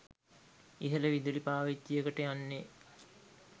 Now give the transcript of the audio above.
ඉහළ විදුලි පාවිච්චියකට යන්නේ